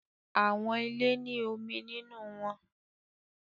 Awọn ile ni omi ninu wọn